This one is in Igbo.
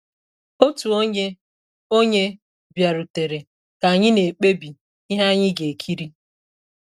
Otu onye onye bịarutere ka anyị na-ekpebi ihe anyị ga-ekiri.